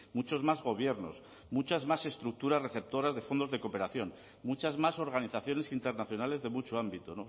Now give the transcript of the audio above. muchos más gobiernos muchas más estructuras receptoras de fondos de cooperación muchas más organizaciones internacionales de mucho ámbito